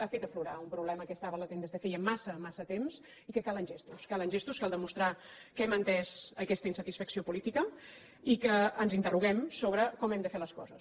ha fet aflorar un problema que estava latent des de feia massa massa temps i que calen gestos calen gestos cal demostrar que hem entès aquesta insatisfacció política i que ens interroguem sobre com hem de fer les coses